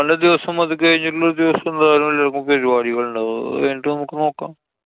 ദിവസം അതുകഴിഞ്ഞിട്ടള്ള ഒരു ദിവസം എന്തായാലും എല്ലാവര്‍ക്കും പരിപാടികളുണ്ടാവും. അതുകഴിഞ്ഞിട്ട് നമുക്ക് നോക്കാം.